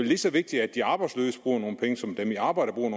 lige så vigtigt at de arbejdsløse bruger nogle penge som at dem i arbejde bruger